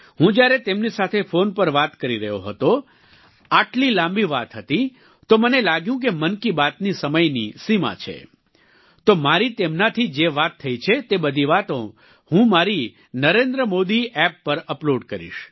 હું જ્યારે તેમની સાથે ફોન પર વાત કરી રહ્યો હતો આટલી લાંબી વાત હતી તો મને લાગ્યું કે મન કી બાત ની સમયની સીમા છે તો મારી તેમનાથી જે વાત થઈ છે તે બધી વાતો હું મારી NarendraModiApp પર અપલોડ કરીશ